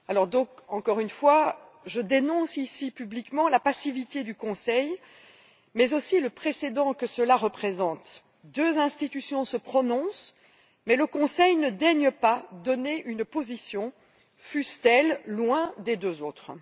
Donc, une fois de plus, je dénonce ici publiquement la passivité du Conseil, mais aussi le précédent que cela représente deux institutions se prononcent mais le Conseil ne daigne pas donner sa position, fût elle loin des deux autres.